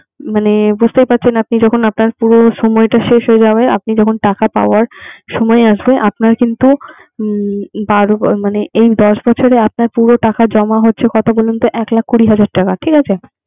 মানে বুঝতেই পারছেন। আপনি যখন আপনার পুরো সময়টা শেষ হয়ে যাবে। আপনি যখন টাকা পাওয়ার সময় আসবে। আপনার কিন্তু মানে এই দশ বছরে আপনার পুরো টাকা জমা হচ্ছে কত বলুন তো এক লাখ কুড়ি হাজার টাকা